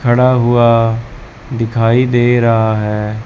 खड़ा हुआ दिखाई दे रहा है।